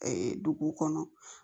dugu kɔnɔ